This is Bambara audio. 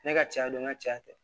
Ne ka caya don ŋa cɛ